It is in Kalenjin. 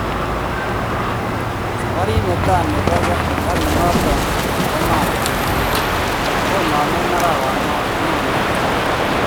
Saparit netaa nepoo karit noton nepo maat konaeme arawanon nyone.